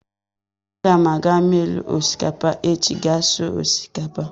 Aga m aga milu osikapa echi ga sụọ osikapa.